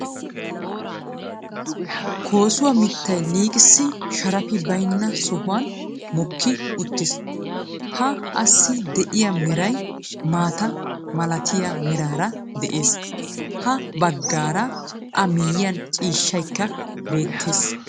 Koosuwaa miittay liiqqisi sharappi baynna sohuwan mokki uttiis. Ha assi de'iya meray maata malatiya meraara de'ees. Ha baggaara a miyyiyaan ciishshaykka beettees.